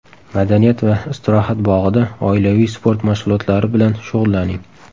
Madaniyat va istirohat bog‘ida oilaviy sport mashg‘ulotlari bilan shug‘ullaning!